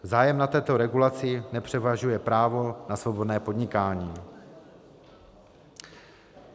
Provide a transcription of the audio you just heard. Zájem na této regulaci nepřevažuje právo na svobodné podnikání.